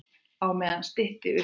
Á meðan stytti upp.